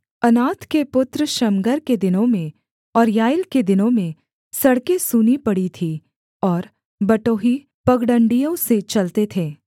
Anath के पुत्र Shamgar के दिनों में और याएल के दिनों में सड़कें सूनी पड़ी थीं और बटोही पगडण्डियों से चलते थे